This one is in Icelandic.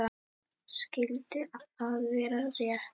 Skyldi það vera rétt?